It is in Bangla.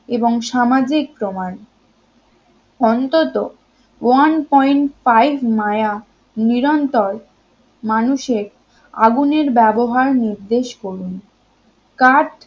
এবং সামাজিক প্রমাণ অন্তত one point five মায়া নিরন্তর মানুষের আগুনের ব্যবহার নির্দেশ করুন কাঠ